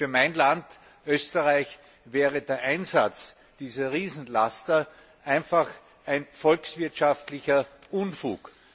Für mein Land Österreich wäre der Einsatz dieser Riesenlaster einfach ein volkswirtschaftlicher Unfug.